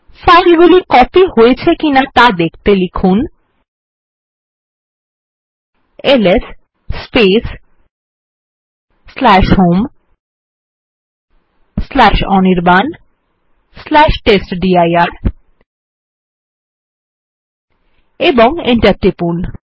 ফাইলগুলি কপি হয়েছে কিনা ত়া দেখতে লিখুন এলএস হোম অনির্বাণ টেস্টডির এবং Enter টিপুন